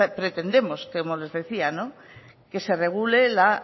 pretendemos como les decía que se regule la